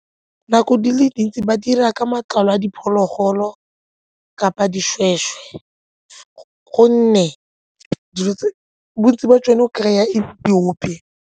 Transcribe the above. Nako di le dintsi ba dira ka matlalo a diphologolo kapa dishweshwe gonne bontsi jwa tsone go kry-a e le diope.